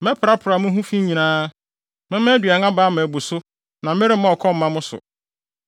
Mɛprapra mo ho fi nyinaa. Mɛma aduan aba ama abu so na meremma ɔkɔm mma mo so.